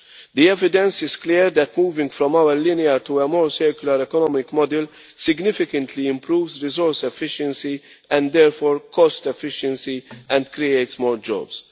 The evidence is clear that moving from our linear to a more circular economic model significantly improves resource efficiency and therefore cost efficiency, and creates more jobs.